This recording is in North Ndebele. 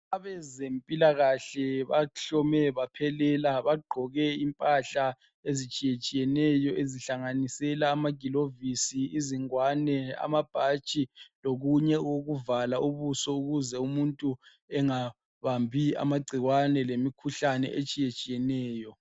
Abezempilakahle bahlome baphelela. Bagqoke impahla ezitshiyetshiyeneyo ezihlanganisela amagilovisi, izingwane, amabhatshi, lokunye okokuvala ubuso ukuze umuntu engabambi amagcikwane lemikhuhlane etshiyetshiyeneyo.